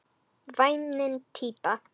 Væmin típa.